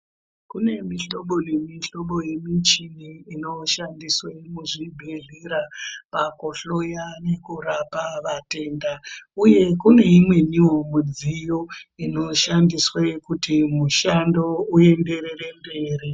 Kune mihlobo nemihlobo yemuchini inoshandiswe muzvibhedhlera pakuhloya nekurapa vatenda uye kune imweniwo midziyo inoshandiswe kuti mushando uyenderere mberi.